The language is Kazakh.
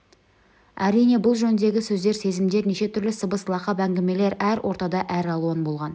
әрине бұл жөндегі сөздер сезімдер неше түрлі сыбыс лақап әңгімелер әр ортада әралуан болған